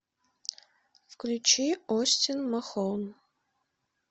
включи остин махон